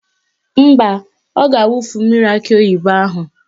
Mba, ọ ga-awufu mmiri akị oyibo ahụ.